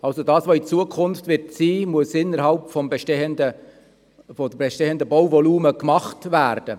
Das, was also künftig gebaut wird, muss innerhalb des bestehenden Bauvolumens realisiert werden.